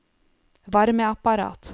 varmeapparat